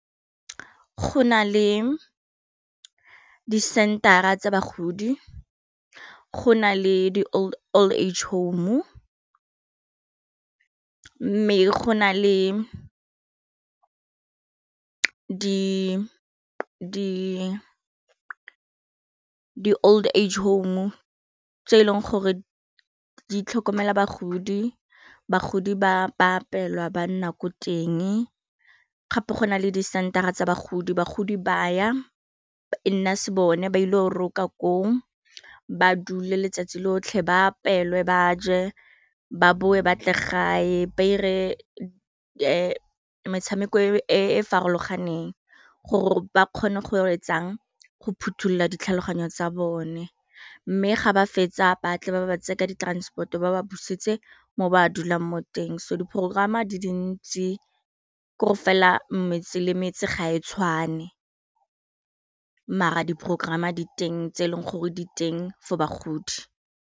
Go na le di center-a tsa bagodi go na le di old age home mme go na le di old age home tse e leng gore dintlhokomela bagodi, bagodi ba apelwa ba nna ko teng, gape go nale di center-a tsa bagodi, bagodi baya e nna se bone ba ile go roka ko o, ba dule letsatsi lotlhe ba apelwe ba je ba bowe batle gae ba ire metshameko e e farologaneng gore ba kgone go etsang phothulola ditlhaloganyo tsa bone mme ga ba fetsa batle ba ba tsekedi transport-o ba ba busetse mo ba a dulang mo teng so di progerama di dintsi gore fela metse le metse ga e tshwane maar di progerama diteng tse e leng gore di teng for bagodi.